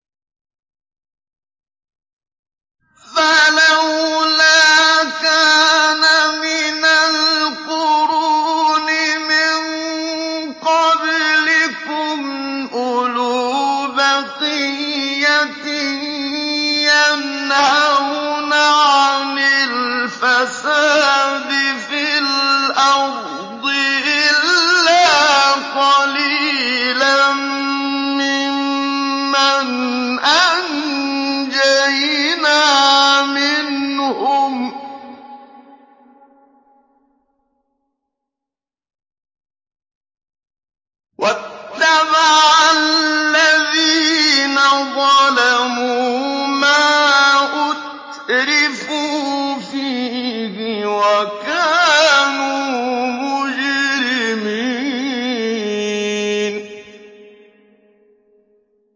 فَلَوْلَا كَانَ مِنَ الْقُرُونِ مِن قَبْلِكُمْ أُولُو بَقِيَّةٍ يَنْهَوْنَ عَنِ الْفَسَادِ فِي الْأَرْضِ إِلَّا قَلِيلًا مِّمَّنْ أَنجَيْنَا مِنْهُمْ ۗ وَاتَّبَعَ الَّذِينَ ظَلَمُوا مَا أُتْرِفُوا فِيهِ وَكَانُوا مُجْرِمِينَ